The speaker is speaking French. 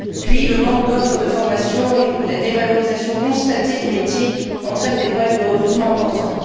Deuxièmement, le manque d'offres de formation et la dévalorisation constatée du métier entraînent des problèmes de recrutement importants.